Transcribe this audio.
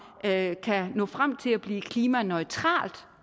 kan nå frem til at blive klimaneutralt